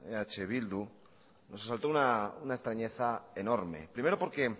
eh bildu nos asaltó una extrañeza enorme primero porque